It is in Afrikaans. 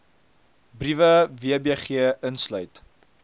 breede wbg insluit